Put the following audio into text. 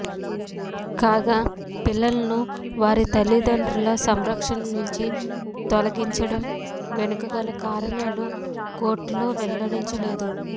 కాగా పిల్లలను వారి తల్లిదండ్రుల సంరక్షణ నుంచి తొలగించడం వెనుక గల కారణాలు కోర్టులో వెల్లడించలేదు